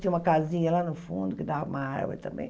Tinha uma casinha lá no fundo que dava para uma árvore também.